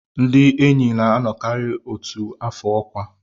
Ndị enyi na-anọkarị otu afọ ọkwa